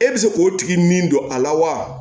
E bɛ se k'o tigi min don a la wa